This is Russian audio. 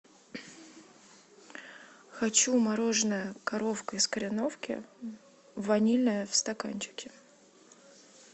хочу мороженое коровка из кореновки ванильное в стаканчике